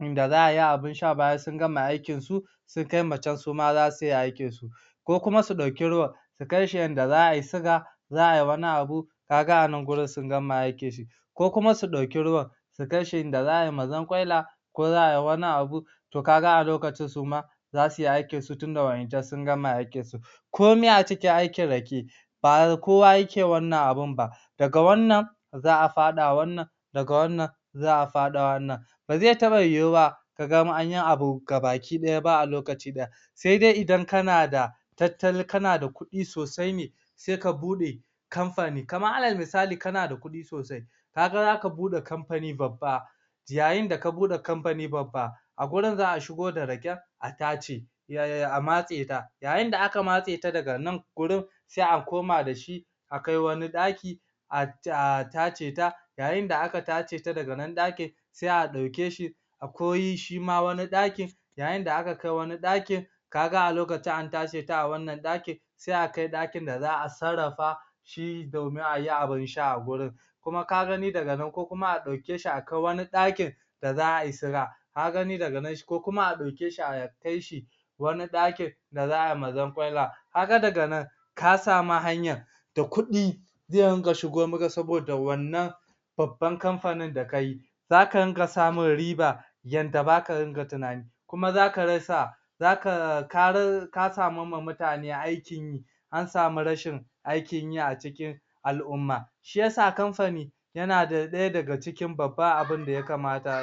inda za'a yi abin sha bayan sun gama aikin su sun kai ma can suma zasuyi aikin su koko kuma su ɗauki ruwan su kai shi inda za'ayi siga za'a yi wani abu kaga a nan wurin sun gama aikin su ko kuma su ɗauki ruwan su kai shi inda za'a yi mazankwaila ko za'a yi wani abun to kaga a loakcin suma za suyi aikin su tunda waɗancan sun gama aikin su komai a cikin aikin Rake ba kowa yake wannan abun ba daga wannan za'a faɗa wannan daga wannan za'a faɗa wannan ba zai taɓa yiyuwa kaga anyi abu gabaki ɗaya a loakci ɗaya sai dai idan kana da tattali kana da kuɗu sosai ne sai ka buɗe kamfani kamar alal misali kana da kuɗi sosai kaga zaka buɗe kamfani babba yayin da ka buɗe kamfani babba a wurin za'a shigo da Raken a tace yaya a matse ta yayin da aka matse ta daga nan wurin sai a koma dashi akai wani ɗaki ah ah tace ta yayin da aka tace ta da nan ɗakin sai a ɗauke shi akwai shima wani ɗakin yayin da aka kai wani ɗakin kaga a lokacin an tace ta a wannan ɗakin sai a kai ɗakin da za'a sarrafa shi domin ayi abin sha a wurin kuma ka gani daga nan ko kuma a ɗauke shi a kai wani ɗakin da za'a yi siga ka gani daga nan ko kuma a ɗauke shi a kai shi wani ɗakin da za'a yi mazankwalla kaga dag nan ka sani hanyar da kuɗi zai dunga shigo maka saboda wannan babban kamfanin da kai zaka dunga samun riba yadda baka dunga tunani kuma zaka rasa zaka ka ra ka samar ma mutane aikin yi an sami rashin aikin yi a cikin al'umma shiyasa kamfani yana ɗaya daga cikin babban abinda ya kamata ayi